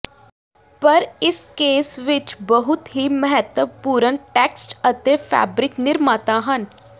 ਪਰ ਇਸ ਕੇਸ ਵਿੱਚ ਬਹੁਤ ਹੀ ਮਹੱਤਵਪੂਰਨ ਟੈਕਸਟ ਅਤੇ ਫੈਬਰਿਕ ਨਿਰਮਾਤਾ ਹਨ